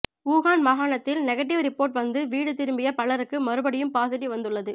Wuhan மாகாணத்தில் negative report வந்து வீடு திரும்பிய பலருக்கு மறுபடியும் பாசிடிவ் வந்துள்ளது